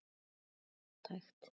Þetta er allt hægt.